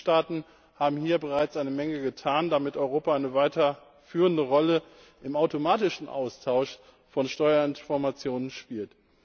Die Mitgliedstaaten haben hier bereits eine Menge getan, damit Europa eine weiterführende Rolle im automatischen Austausch von Steuerinformationen spielt.